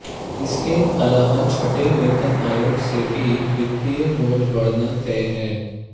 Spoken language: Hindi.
इसके अलावा छठे वेतन आयोग से भी वित्तीय बोझ बढ़ना तय है